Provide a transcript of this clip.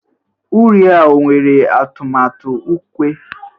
uri a ọ nwere atụmatụ ukwe?